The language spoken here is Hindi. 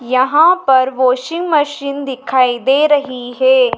यहां पर वॉशिंग मशीन दिखाई दे रही है।